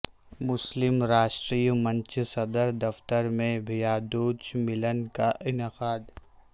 مسلم راشٹریہ منچ صدر دفتر میں بھیا دوج ملن کا انعقاد